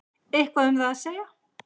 Eitthvað um það að segja?